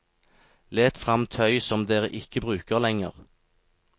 Let frem tøy som dere ikke bruker lenger.